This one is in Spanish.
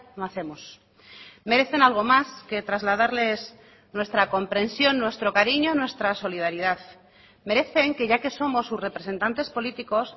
no hacemos merecen algo más que trasladarles nuestra comprensión nuestro cariño nuestra solidaridad merecen que ya que somos sus representantes políticos